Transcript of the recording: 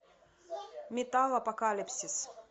металлопокалипсис